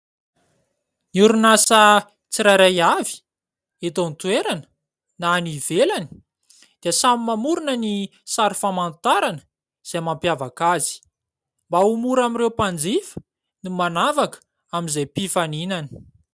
Ny orinasa tsirairay avy eto an- toerana na any ivelany dia samy mamorina ny sary famantarana izay mampiavaka azy, mba ho mora amin'ireo mpanjifa ny manavaka amin'izay mpifaninany.